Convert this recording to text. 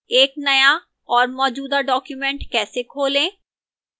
एक नया और मौजूदा document कैसे खोलें